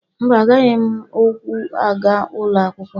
Mba, agaghị m ụkwụ aga ụlọ akwụkwọ.